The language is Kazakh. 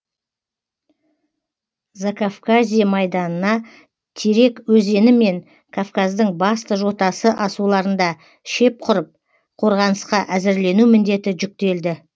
закавказье майданына терек өзені мен кавказдың басты жотасы асуларында шеп ңұрып қорғанысқа әзірлену міндеті жүктелді